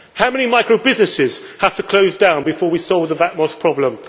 How many microbusinesses have to close down before we solve the VAT MOSS problem?